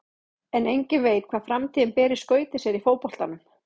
En enginn veit hvað framtíðin ber í skauti sér í fótboltanum.